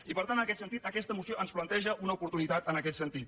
i per tant aquesta moció ens planteja una oportunitat en aquest sentit